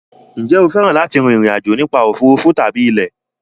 Ǹjẹ́ o fẹ́ràn láti rin ìrìn àjò nípa òfuurufú tàbí ilẹ̀?